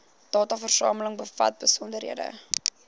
dataversameling bevat besonderhede